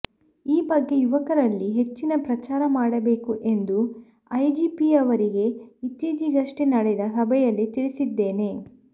ಈ ಬಗ್ಗೆ ಯುವಕರಲ್ಲಿ ಹೆಚ್ಚಿನ ಪ್ರಚಾರ ಮಾಡಬೇಕು ಎಂದು ಐಜಿಪಿಯವರಿಗೆ ಇತ್ತೀಚೆಗಷ್ಟೆ ನಡೆದ ಸಭೆಯಲ್ಲಿ ತಿಳಿಸಿದ್ದೇನೆ